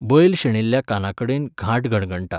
बैल शेणिल्ल्या कानाकडेन घांट घणघणटा